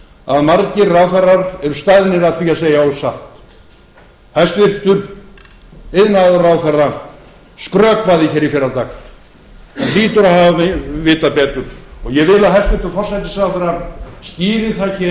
að margir ráðherrar eru staðnir að því að segja ósatt hæstvirtur iðnaðarráðherra skrökvaði hér í fyrradag hann hlýtur að hafa vitað betur og ég vil að hæstvirtur forsætisráðherra skýri það hér